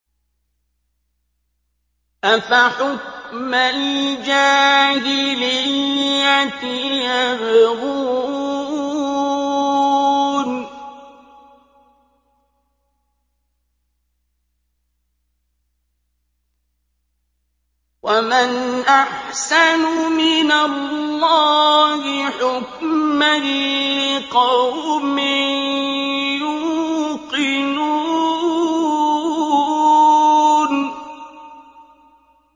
أَفَحُكْمَ الْجَاهِلِيَّةِ يَبْغُونَ ۚ وَمَنْ أَحْسَنُ مِنَ اللَّهِ حُكْمًا لِّقَوْمٍ يُوقِنُونَ